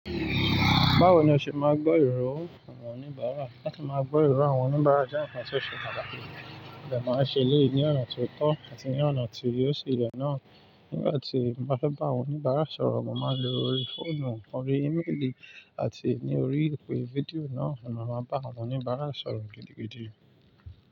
Báwo ni o ṣe máa gbọ́ ìrò àwọn oníbàárà? Láti máa gbọ́ ìrò àwọn oníbàárà jẹ́ ǹkan tí ó ṣe é pàtàkì. Mo dẹ̀ máa ṣe elé yí ní ọ̀nà tó tọ́ àti ní ọ̀nà tí yóò sì yẹ náà. Nígbà tí mo bá fẹ́ bá oníbàárà sọ̀rọ̀, mo máa lo ori fóònù, orí ímélì àti ní orí ìpè fídíò náà ni mo máa bá àwọn oníbàárà sọ̀rọ̀ gidigidi.